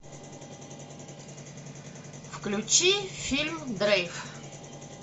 включи фильм дрейф